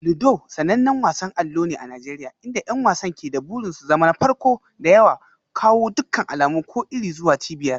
Ludo sanannen wasan allo ne a Najeriya inda 'yan wasan ke da burin su zama na farko da ya kawo dukkan alamu ko iri zuwa cibiyar.